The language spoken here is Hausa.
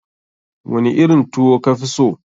Wani irin tuwo ka fi so?